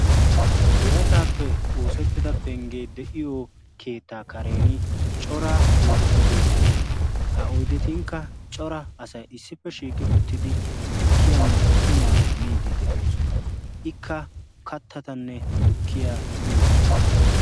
birataappe oosettida penggee de'iyo keettaa karen coraa oydeti beettoosona. ha oydetunkka cora asay issippe shiiqi uttidi tukkiyaanne qumaa miidi de'oosona. ikka kattatanne tukkiya uyiyo sohuwaa.